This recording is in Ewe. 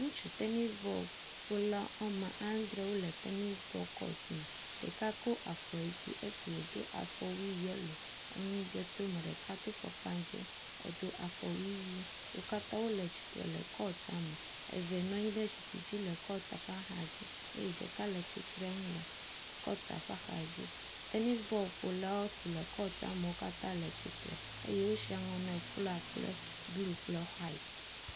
Ŋutsu tenis bɔlƒola woame adre wole tenis bɔl kɔt me, ɖeka ko afɔ yi dzi esi wòdo afɔwui yelo, enu dze to me, ɖeka do afɔkpa dze, do afɔwui ʋɛ̃. Wo katã wole tsitre le kɔtia me, eve nɔ anyi ɖe zikpui dzi le kɔtia ƒe axadzi eye ɖeka le tsitrenu le kɔtia ƒe axadzi. Tenis bɔlƒolawo si kɔtia me katã wole tsitre eye wosi aŋɔ ne flɔa kple blu kple xɔait.